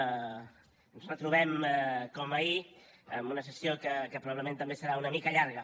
ens retrobem com ahir en una sessió que probablement també serà una mica llarga